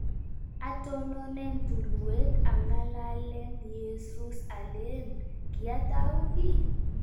atononen tulweet angalalen Yezuus aleleln � kiatau kii�